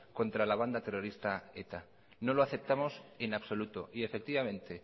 contra la banda terrorista eta no lo aceptamos en absoluto y efectivamente